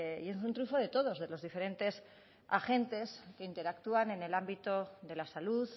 y es un triunfo de todos de los diferentes agentes que interactúan en el ámbito de la salud